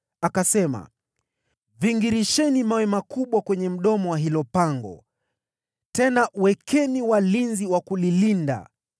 akasema, “Vingirisheni mawe makubwa kwenye mdomo wa hilo pango, tena wekeni walinzi wa kulilinda.